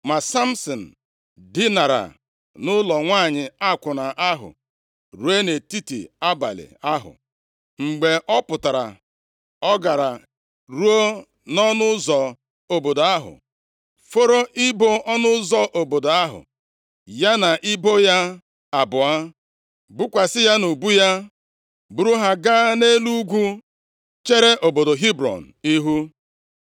Ma Samsin dinara nʼụlọ nwanyị akwụna ahụ ruo nʼetiti abalị ahụ. Mgbe ọ pụtara, ọ gara ruo nʼọnụ ụzọ obodo ahụ, foro ibo ọnụ ụzọ obodo ahụ, ya na ibo ya abụọ, bukwasị ya nʼubu ya, buru ha gaa nʼelu ugwu chere obodo Hebrọn ihu.